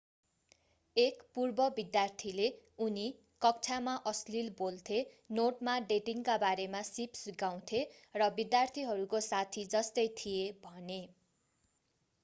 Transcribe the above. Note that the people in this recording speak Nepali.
एक पूर्व विद्यार्थीले उनी कक्षामा अश्लील बोल्थे नोटमा डेटिङका बारेमा सीप सिकाउँथे र विद्यार्थीहरूको साथी जस्तै थिए भने